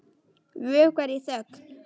Vökvar í þögn.